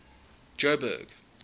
joburg